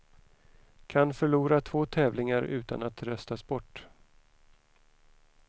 Kan förlora två tävlingar utan att röstas bort.